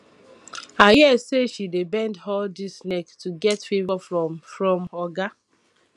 i hear say she dey bend all dis neck to get favour from from oga